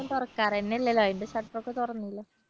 ഇപ്പൊ തുറക്കാൻ തന്നെയല്ലല്ലോ അതിന്റെ shutter ഒക്കെ തുറന്നില്ലേ